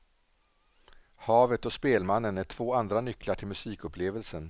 Havet och spelmannen är två andra nycklar till musikupplevelsen.